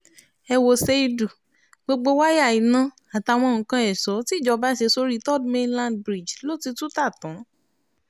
ẹ wo ṣéídù gbogbo wáyà iná àtàwọn nǹkan èso tìjọba ṣe sórí third mainland bridge ló ti tú ta tán